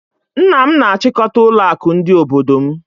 Nna m na-achịkọta ụlọakụ dị n'obodo m